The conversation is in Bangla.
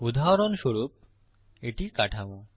উদাহরণস্বরূপ এটি কাঠামো